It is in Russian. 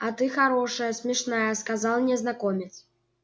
а ты хорошая смешная сказал незнакомец